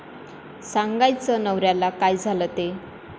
सांगायचं नवऱ्याला काय झालं ते.